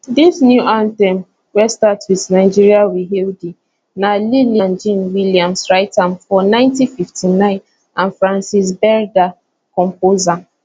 dis new anthem wey start wit nigeria we hail thee na lillian jean williams write am for 1959 and frances berda compose am